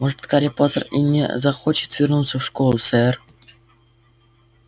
может гарри поттер и не захочет вернуться в школу сэр